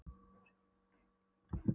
Það var ekki gott að lenda í mömmu